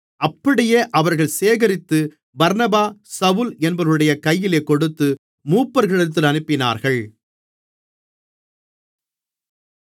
அப்படியே அவர்கள் சேகரித்து பர்னபா சவுல் என்பவர்களுடைய கையிலே கொடுத்து மூப்பர்களிடத்திற்கு அனுப்பினார்கள்